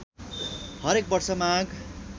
हरेक वर्ष माघ